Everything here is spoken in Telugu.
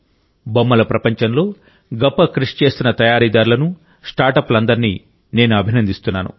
బొమ్మల ప్రపంచంలో గొప్ప కృషి చేస్తున్న తయారీదారులను స్టార్ట్అప్లందరినీ నేను అభినందిస్తున్నాను